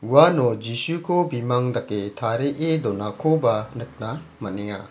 uano jisuko bimang dake tarie donakoba nikna man·enga.